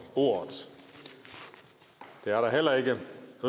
ordet det er der heller ikke